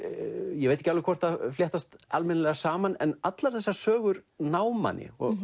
ég veit ekki alveg hvort það fléttast almennilega saman en allar þessar sögur ná manni